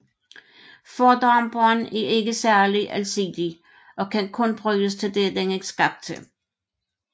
Fordamperen er ikke særlig alsidig og kan kun bruges til det den er skabt til